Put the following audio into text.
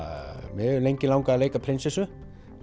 mig hefur lengi langað að leika prinsessu